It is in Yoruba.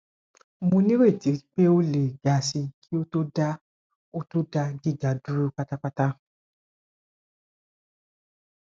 mo nireti pe o le ga si ki o to da o to da giga duro patapata